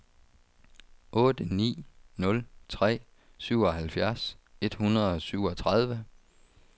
otte ni nul tre syvoghalvfjerds et hundrede og syvogtredive